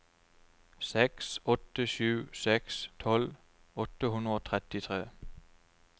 seks åtte sju seks tolv åtte hundre og trettitre